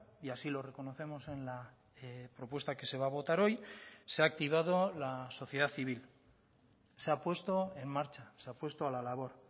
y así lo reconocemos en la propuesta que se va a votar hoy se ha activado la sociedad civil se ha puesto en marcha se ha puesto a la labor